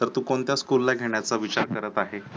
तर तू कोणत्या school ला घेण्याचा विचार करत आहेस.